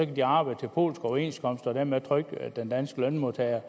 de arbejde på polske overenskomster og dermed trykke den danske lønmodtagers